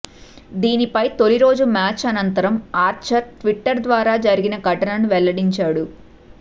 దీనిపై తొలి రోజు మ్యాచ్ అనంతరం ఆర్చర్ ట్విట్టర్ ద్వారా జరిగిన ఘటనను వెల్లడించాడు